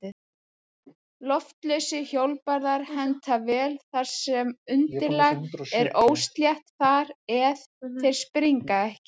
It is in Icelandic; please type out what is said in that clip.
Loftlausir hjólbarðar henta vel þar sem undirlag er óslétt þar eð þeir springa ekki.